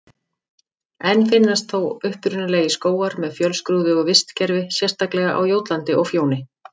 Enn finnast þó upprunalegir skógar með fjölskrúðugu vistkerfi, sérstaklega á Jótlandi og Fjóni.